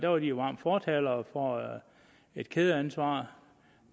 var de jo varme fortalere for et kædeansvar